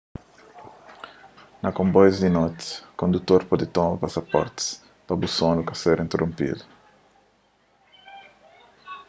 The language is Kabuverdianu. na konboius di noti kondutor pode toma pasaportis pa bu sonu ka ser interonpidu